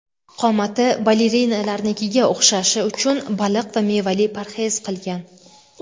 Qomati balerinalarnikiga o‘xshashi uchun baliq va mevali parhez qilgan.